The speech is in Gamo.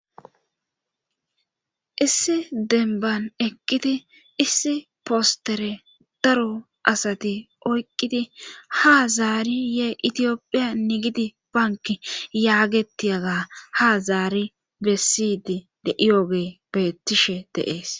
Issi denban ekqidi issi postere daro asati oyqqidi ha zaari ye itiyophiya nigidi banki yaagetiaga ha zaari bessidi de'iyooge bettishe deees